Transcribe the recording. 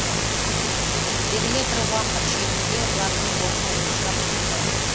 белгілі бір уақыт шегінде олардың орны ойсырап тұрды